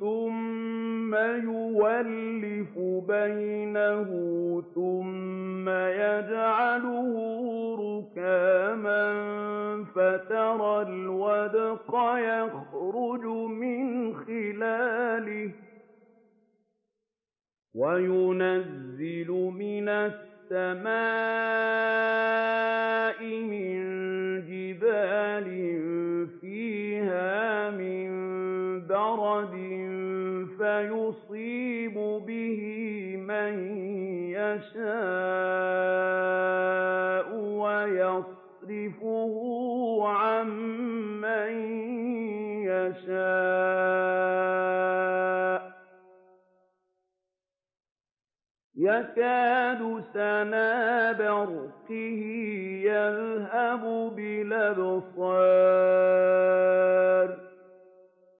ثُمَّ يُؤَلِّفُ بَيْنَهُ ثُمَّ يَجْعَلُهُ رُكَامًا فَتَرَى الْوَدْقَ يَخْرُجُ مِنْ خِلَالِهِ وَيُنَزِّلُ مِنَ السَّمَاءِ مِن جِبَالٍ فِيهَا مِن بَرَدٍ فَيُصِيبُ بِهِ مَن يَشَاءُ وَيَصْرِفُهُ عَن مَّن يَشَاءُ ۖ يَكَادُ سَنَا بَرْقِهِ يَذْهَبُ بِالْأَبْصَارِ